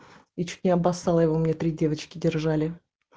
я чуть не обоссала его меня три девочки держали